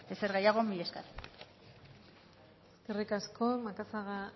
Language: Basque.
ezer gehiago mila esker eskerrik asko macazaga